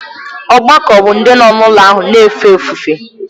Ọgbakọ bụ ndị nọ n’ụlọ ahụ na-efe ofufe.